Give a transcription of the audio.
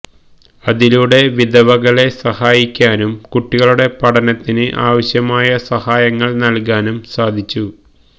അതിലൂടെ വിധവകളെ സഹായിക്കാനും കുട്ടികളുടെ പഠനത്തിന് ആവശ്യമായ സഹായങ്ങള് നല്കാനും സാധിച്ചു